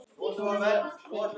Hún er þykk.